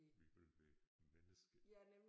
Vi vil være menneske